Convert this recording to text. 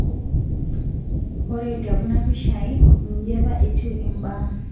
Ore tekuna pishai inji apa etiu mbaa.